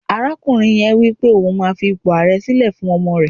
arakunrin yen nipé oun ma fi ipo aare sile fún ọmọ rẹ